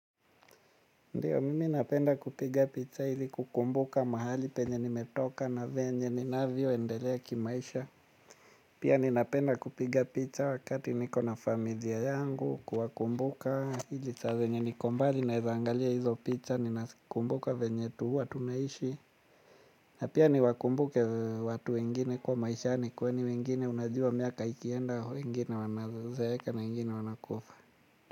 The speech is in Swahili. Ndiyo mimi napenda kupiga picha ili kukumbuka mahali penye nimetoka na venye ninavyoendelea kimaisha. Pia ninapenda kupiga picha wakati niko na familia yangu kwa kumbuka ili saa venye niko mbali naweza angalia hizo picha. Ninakumbuka venye huwa tunaishi. Na pia niwakumbuke watu wengine kwa maishani kwani wengine unajua miaka ikienda wengine wanazeeka na wengine wanakufa.